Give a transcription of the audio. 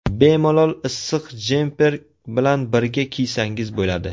Bemalol issiq jemper bilan birga kiysangiz bo‘ladi.